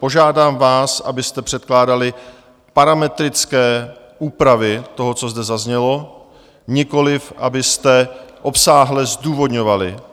Požádám vás, abyste předkládali parametrické úpravy toho, co zde zaznělo, nikoliv abyste obsáhle zdůvodňovali.